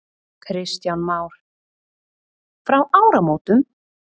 Kristján Már: Frá áramótum?